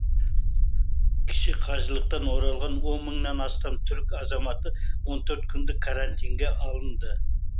кіші қажылықтан оралған он мыңнан астам түрік азаматы он төрт күндік карантинге алынды